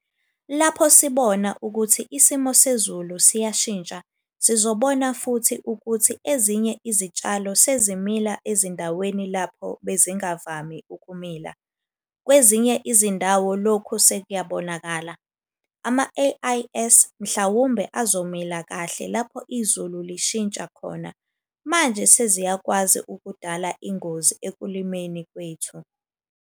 Lapho sibona ukuthi isimo sezulu siyashintsha sizobona futhi ukuthi ezinye izitshalo sezimila ezindaweni lapho bezingavami ukumila - kwezinye izindawo lokhu sekuyabonakala. Ama-AIS mhlawumbe azomila kahle lapho izulu lishintsha khona, manje seziyakwazi ukudala ingozi ekulimeni kwethu.